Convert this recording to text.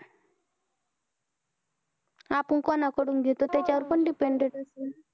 आपण कोणा कडून घेतो त्याच्या वर पण dependent असेल